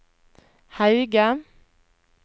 Hauge